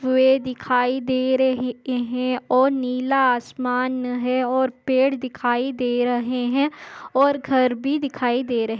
वे दिखाई दे रहे है और नीला आसमान है और पेड़ दिखाई दे रहे है और घर भी दिखाई दे रहे।